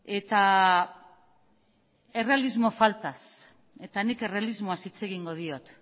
eta errealismo faltaz eta nik errealismoaz hitz egingo diot